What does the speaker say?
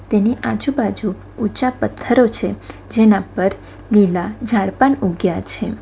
તેની આજુબાજુ ઊચા પથ્થરો છે જેના પર લીલા ઝાડ પન ઉગ્યા છે.